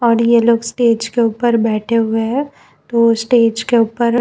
और ये लोग स्टेज के ऊपर बैठे हुए है तो स्टेज के ऊपर --